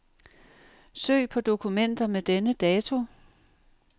Søg på dokumenter med denne dato.